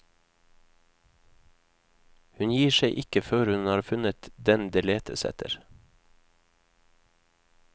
Hun gir seg ikke før hun har funnet den det letes etter.